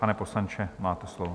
Pane poslanče, máte slovo.